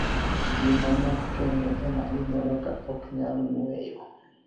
Ji manok kenide ema iniyuolo ka ok niyal nig'weyo.